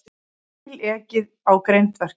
Bíl ekið á grindverk